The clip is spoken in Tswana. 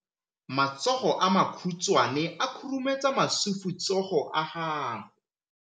Matsogo a makhutshwane a khurumetsa masufutsogo a gago.